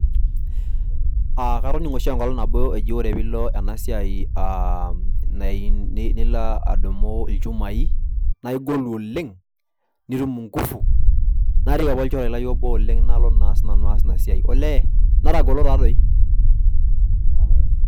Aaa katoningo shi enkolong nabo eji ore pilo ena siaai aaa nilo aa adumu ilchumai naa igolu oleng nitum inkufu. nairik apa olchore lai obo oleng nalo naa sinanu aas ina siai . olee netagol taa doi.